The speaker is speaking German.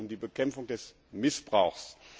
Es geht um die Bekämpfung des Missbrauchs.